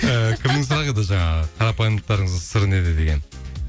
ііі кімнің сұрағы еді жаңағы қарапайымдылықтарыңыздың сыры неде деген